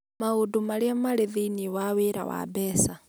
Maũndũ Marĩa Marĩ Thĩinĩ wa Wĩra wa Mbeca: